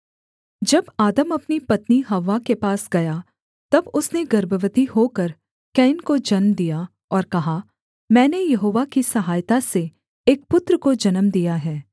जब आदम अपनी पत्नी हव्वा के पास गया तब उसने गर्भवती होकर कैन को जन्म दिया और कहा मैंने यहोवा की सहायता से एक पुत्र को जन्म दिया है